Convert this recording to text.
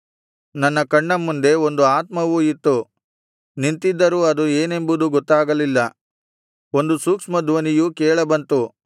ನನ್ನ ಕಣ್ಣ ಮುಂದೆ ಒಂದು ಆತ್ಮವು ಇತ್ತು ನಿಂತಿದ್ದರೂ ಅದು ಏನೆಂಬುದು ಗೊತ್ತಾಗಲಿಲ್ಲ ಒಂದು ಸೂಕ್ಷ್ಮ ಧ್ವನಿಯು ಕೇಳಬಂತು